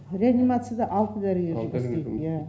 реанимацияда алты дәрігер жұмыс істейді иә